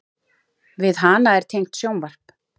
Við hana er tengt sjónvarp.